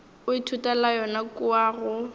o ithutela yona kua go